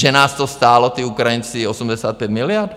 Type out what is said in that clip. Že nás to stálo, ti Ukrajinci, 85 miliard?